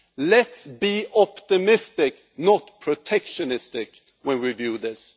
Let's be optimistic, not protectionist, when we do this.